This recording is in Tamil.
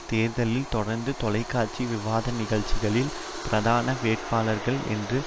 தேர்தலில் தொடர் தொலைக்காட்சி விவாத நிகழ்ச்சிகளில் பிரதான வேட்பாளர்கள் என்று